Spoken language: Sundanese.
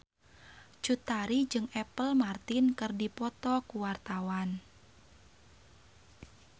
Cut Tari jeung Apple Martin keur dipoto ku wartawan